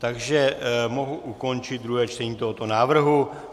Takže mohu ukončit druhé čtení tohoto návrhu.